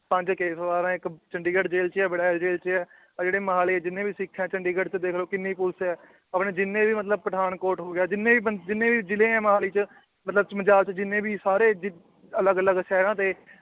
ਪੰਜ ਇੱਕ ਚੰਡੀਗੜ੍ਹ ਜੇਲ੍ਹ ਚ ਵੜੈਲ ਜੇਲ੍ਹ ਚ ਹੈ, ਆਹ ਜਿਹੜੇ ਮੋਹਾਲੀ ਜਿੰਨੇ ਵੀ ਸਿੱਖ ਹੈ ਚੰਡੀਗੜ੍ਹ ਚ ਦੇਖ ਲਓ ਕਿੰਨੀ ਪੁਲਿਸ ਹੈ ਆਪਣੇ ਜਿੰਨੇ ਵੀ ਮਤਲਬ ਪਠਾਨਕੋਟ ਹੋ ਗਿਆ ਜਿੰਨੇ ਵੀ ਬੰਦ ਜਿੰਨੇ ਵੀ ਜਿਲ੍ਹੇ ਹੈ ਮੋਹਾਲੀ ਚ ਮਤਲਬ ਜਿੰਨੇ ਵੀ ਸਾਰੇ ਜਿ ਅਲੱਗ ਅਲੱਗ ਸ਼ਹਿਰਾਂ ਦੇ